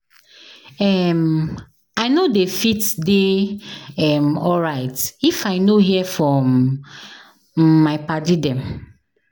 um I no dey fit dey um alright if I no hear from um my paddy dem